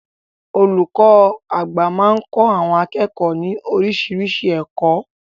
Olùkọ́ àgbà máa ń kọ́ àwọn akẹ́kọ̀ọ́ ní oríṣiríṣi ẹ̀kọ́.